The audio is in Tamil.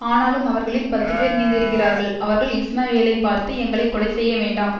ஆனாலும் அவர்களில் பத்துப்பேர் மீந்திருந்தார்கள் அவர்கள் இஸ்மவேலைப்பார்த்து எங்களை கொலைசெய்யவேண்டாம்